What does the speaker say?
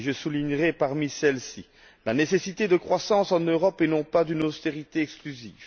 Je soulignerai parmi celles ci la nécessité d'une croissance en Europe, et non pas d'une austérité exclusive